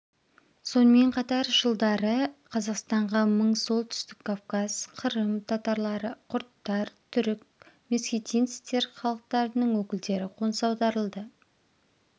сонымен қатар жылдары қазақстанға мың солтүстік кавказ қырым татарлары құрдтар түрік месхетинцтер халықтарының өкілдері қоныс аударылды